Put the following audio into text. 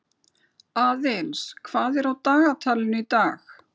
Aðils, hvað er á dagatalinu í dag?